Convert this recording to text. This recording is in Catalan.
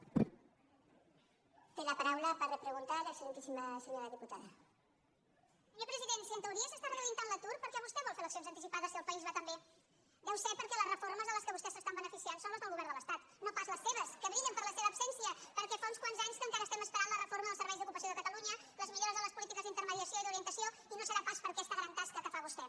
senyor president si en teoria s’està reduint tant l’atur per què vostè vol fer eleccions anticipades si el país va tan bé deu ser perquè les reformes de les quals vostès s’estan beneficiant són les del govern de l’es·tat no pas les la seva absència perquè fa uns quants anys que en·cara estem esperant la reforma del servei d’ocupació de catalunya les millores en les polítiques d’interme·diació i d’orientació i no deu ser pas per aquesta gran tasca que fa vostè